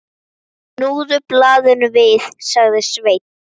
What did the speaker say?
Snúðu blaðinu við, sagði Sveinn.